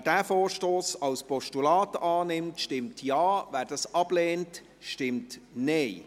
Wer diesen Vorstoss als Postulat annimmt, stimmt Ja, wer dies ablehnt, stimmt Nein.